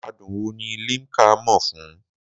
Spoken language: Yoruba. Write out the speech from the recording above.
Adùn wo ni Limca mọ̀ fún?